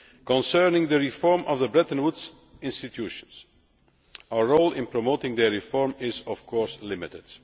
Concerning the reform of the Bretton Woods institutions, our role in promoting their reform is, of course, limited.